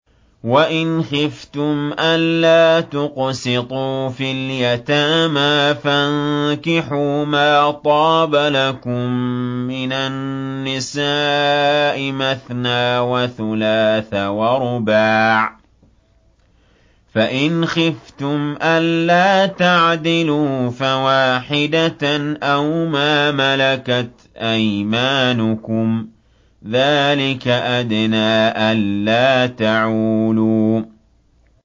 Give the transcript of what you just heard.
وَإِنْ خِفْتُمْ أَلَّا تُقْسِطُوا فِي الْيَتَامَىٰ فَانكِحُوا مَا طَابَ لَكُم مِّنَ النِّسَاءِ مَثْنَىٰ وَثُلَاثَ وَرُبَاعَ ۖ فَإِنْ خِفْتُمْ أَلَّا تَعْدِلُوا فَوَاحِدَةً أَوْ مَا مَلَكَتْ أَيْمَانُكُمْ ۚ ذَٰلِكَ أَدْنَىٰ أَلَّا تَعُولُوا